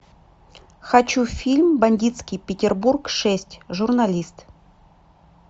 хочу фильм бандитский петербург шесть журналист